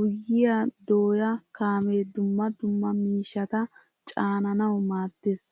Guyyiyaa dooya kaamee dumma dumma miishshata caananawu maaddees.